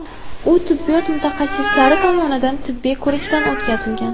U tibbiyot mutaxassislari tomonidan tibbiy ko‘rikdan o‘tkazilgan.